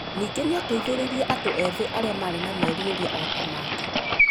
Ningĩ nĩ aateithirie andũ ethĩ arĩa maarĩ na merirĩria o ta make.